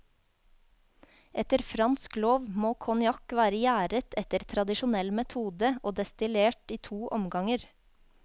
Etter fransk lov må konjakk være gjæret etter tradisjonell metode og destillert i to omganger.